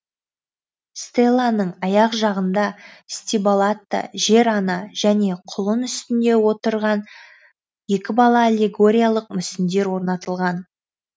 стеланың аяқ жағында стиболатта жер ана және құлын үстінде отырған екі бала аллегориялық мүсіндер орнатылған